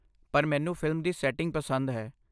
ਪਰ ਮੈਨੂੰ ਫਿਲਮ ਦੀ ਸੈਟਿੰਗ ਪਸੰਦ ਹੈ।